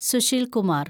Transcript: Sushil Kumar